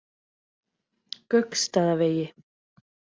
Gauksstaðavegi